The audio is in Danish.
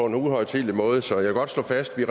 en uhøjtidelig måde så jeg vil godt slå fast at vi